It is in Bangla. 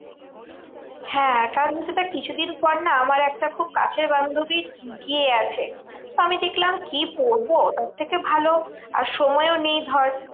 হ্যাঁ কারণ হচ্ছে দেখ কিছুদিন পর না আমার একটা খুব কাছের বান্ধবীর বিয়ে আছে। তো আমি দেখলাম কি পড়বো? তার থেকে ভালো আর সময়ও নেই ধর।